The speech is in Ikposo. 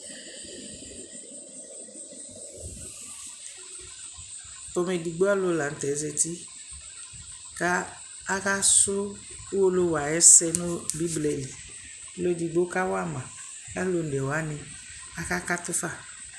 Pomɛ edigbo alʋ la nʋ tɛ zati kʋ akasʋ Uwolowu ayʋ ɛsɛ nʋ Bɩbla li Ɔlʋ edigbo kawa ma kʋ alʋ one wanɩ akakatʋ fa